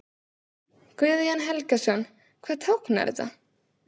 Guðjón Helgason: Hvað táknar þetta?